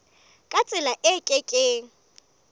ka tsela e ke keng